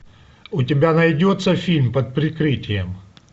у тебя найдется фильм под прикрытием